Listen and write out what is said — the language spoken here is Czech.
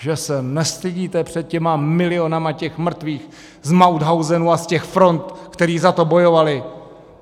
Že se nestydíte před těmi miliony těch mrtvých z Mauthausenu a z těch front, kteří za to bojovali!